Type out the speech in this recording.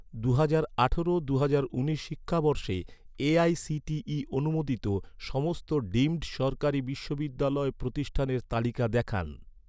দুহাজার আঠারো দুহাজার উনিশ শিক্ষাবর্ষে এ.আই.সি.টি.ই অনুমোদিত, সমস্ত ডিমড সরকারি বিশ্ববিদ্যালয় প্রতিষ্ঠানের তালিকা দেখান